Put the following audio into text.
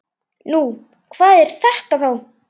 Nú, hvað er þetta þá?